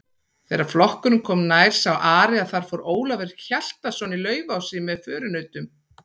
Þegar flokkurinn kom nær sá Ari að þar fór Ólafur Hjaltason í Laufási með förunautum.